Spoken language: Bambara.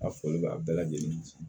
A fɔli bɛ a bɛɛ lajɛlen